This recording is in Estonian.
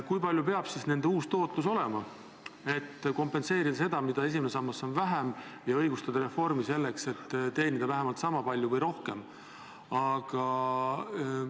Milline peaks nende uus tootlus olema, et kompenseerida seda, mille võrra esimene sammas on väiksem, ja õigustada reformi, teenides vähemalt sama palju või rohkem?